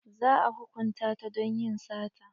Za a hukunta ta don yin sata.